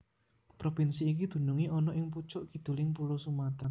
Propinsi iki dunungé ana ing pucuk kiduling pulo Sumatra